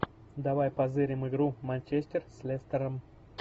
давай позырим игру манчестер с лестером